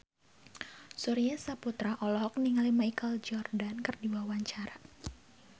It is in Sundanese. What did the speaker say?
Surya Saputra olohok ningali Michael Jordan keur diwawancara